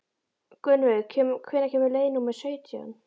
Gunnveig, hvenær kemur leið númer sautján?